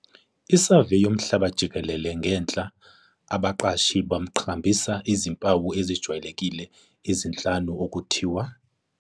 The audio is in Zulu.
Isaveyi yomhlaba jikelele ngenhla abaqashi baqhakambise izimpawu ezijwayelekile ezinhlanu ukuthiwa.